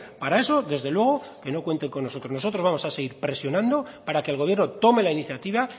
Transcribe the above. para eso desde luego que no cuenten con nosotros nosotros vamos a seguir presionando para que el gobierno tome la iniciativa